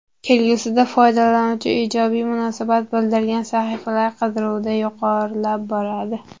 Kelgusida foydalanuvchi ijobiy munosabat bildirgan sahifalar qidiruvda yuqorilab boradi.